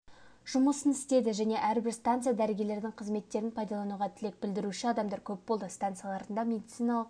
жұмысын істеді және әр-бір станция дәрігерлердің қызметтерін пайдалануға тілек білдіруші адамдар көп болды станцияларында медициналық